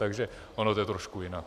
Takže ono to je trošku jinak.